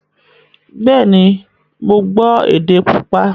Bẹ́ẹ̀ni, mo gbọ́ èdè púpọ̀